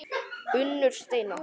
Unnur Steina.